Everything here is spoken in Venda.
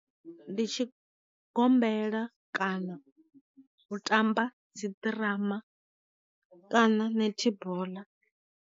Ndi tshi gombela kana u tamba dzi ḓirama kana nethiboḽa.